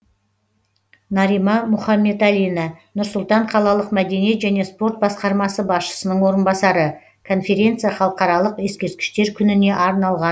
нарима мұхамбеталина нұр сұлтан қалалық мәдениет және спорт басқармасы басшысының орынбасары конференция халықаралық ескерткіштер күніне арналған